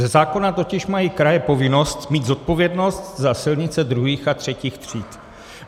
Ze zákona totiž mají kraje povinnost mít zodpovědnost za silnice II. a III. tříd.